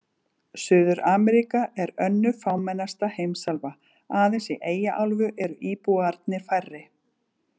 Suður-Ameríka er önnur fámennasta heimsálfan, aðeins í Eyjaálfu eru íbúarnir færri.